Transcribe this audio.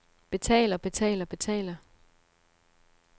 betaler betaler betaler